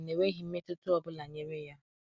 enweghim mmetuta ọbụla nyere ya